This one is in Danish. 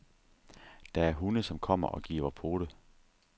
Der er hunde, som kommer og giver pote.